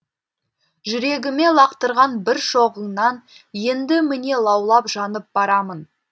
жүрегіме лақтырған бір шоғыңнан енді міне лаулап жанып барамын